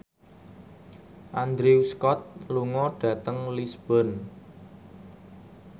Andrew Scott lunga dhateng Lisburn